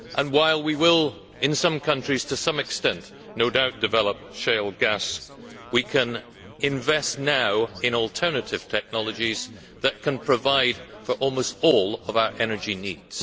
While we will, in some countries, to some extent, no doubt develop shale gas, we can invest now in alternative technologies that can provide for almost all of our energy needs.